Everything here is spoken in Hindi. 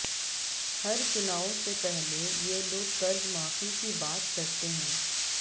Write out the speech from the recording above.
हर चुनाव से पहले ये लोग कर्जमाफी की बात करते हैं